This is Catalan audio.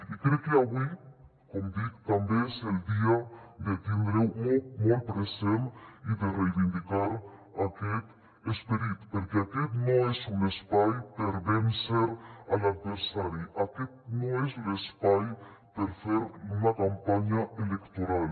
i crec que avui com dic també és el dia de tindre ho molt molt present i de reivindicar aquest esperit perquè aquest no és un espai per vèncer l’adversari aquest no és l’espai per fer una campanya electoral